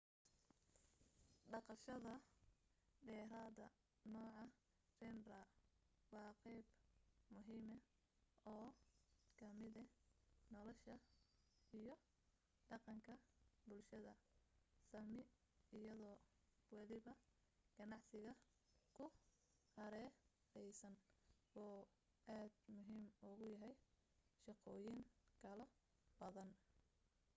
dhaqashada deerada nooca reindeer waa qeyb muhiima oo kamida nolasha iyo dhaqanka bulshada sami iyado waliba ganacsiga ku hareereysan uu aad muhiim ugu yahay shaqooyin kalo badan